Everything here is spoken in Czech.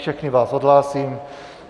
Všechny vás odhlásím.